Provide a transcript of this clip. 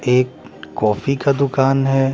एक कॉफी का दुकान हैं।